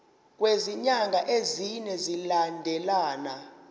kwezinyanga ezine zilandelana